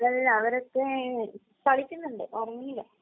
അല്ല. അവരൊക്കെ കളിക്കുന്നുണ്ട്. ഉറങ്ങിയില്ല.